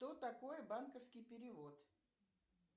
что такое банковский перевод